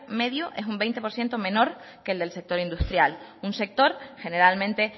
medio es un veinte por ciento menor que el del sector industrial un sector generalmente